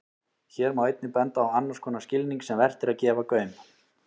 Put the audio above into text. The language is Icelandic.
Hér má einnig benda á annars konar skilning sem vert er að gefa gaum.